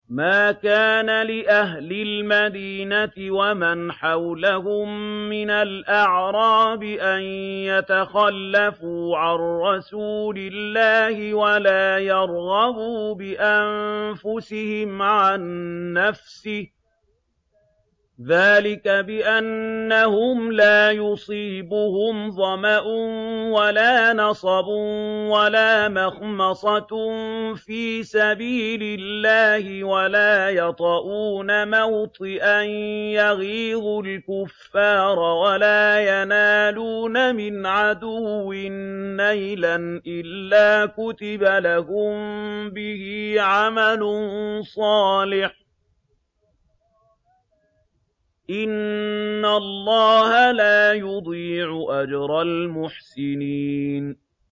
مَا كَانَ لِأَهْلِ الْمَدِينَةِ وَمَنْ حَوْلَهُم مِّنَ الْأَعْرَابِ أَن يَتَخَلَّفُوا عَن رَّسُولِ اللَّهِ وَلَا يَرْغَبُوا بِأَنفُسِهِمْ عَن نَّفْسِهِ ۚ ذَٰلِكَ بِأَنَّهُمْ لَا يُصِيبُهُمْ ظَمَأٌ وَلَا نَصَبٌ وَلَا مَخْمَصَةٌ فِي سَبِيلِ اللَّهِ وَلَا يَطَئُونَ مَوْطِئًا يَغِيظُ الْكُفَّارَ وَلَا يَنَالُونَ مِنْ عَدُوٍّ نَّيْلًا إِلَّا كُتِبَ لَهُم بِهِ عَمَلٌ صَالِحٌ ۚ إِنَّ اللَّهَ لَا يُضِيعُ أَجْرَ الْمُحْسِنِينَ